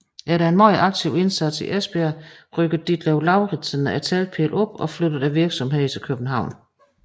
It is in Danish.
Efter en meget aktiv indsats i Esbjerg rykkede Ditlev Lauritzen teltpælene op og flyttede virksomheden til København